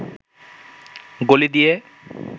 গলি দিয়ে